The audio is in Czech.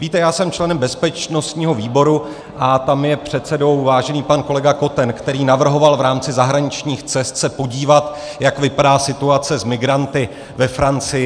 Víte, já jsem členem bezpečnostního výboru a tam je předsedou vážený pan kolega Koten, který navrhoval v rámci zahraničních cest se podívat, jak vypadá situace s migranty ve Francii.